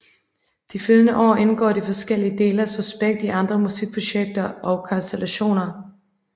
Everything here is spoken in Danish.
De følgende år indgår de forskellige dele af Suspekt i andre musikprojekter og konstellationer